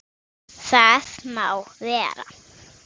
Það má vera.